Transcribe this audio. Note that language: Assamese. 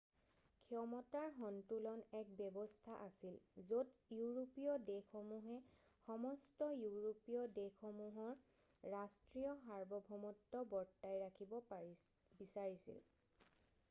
ক্ষমতাৰ সন্তুলন এক ব্যৱস্থা আছিল য'ত ইউৰোপীয় দেশসমূহে সমস্ত ইউৰোপীয় দেশসমূহৰ ৰাষ্ট্ৰীয় সাৰ্বভৌমত্ব বৰ্তাই ৰাখিব বিচাৰিছিল